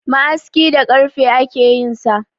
Ma'aski da karfe ake yinsa